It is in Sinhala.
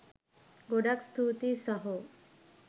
ගොඩක් ස්තුතියි සහෝ.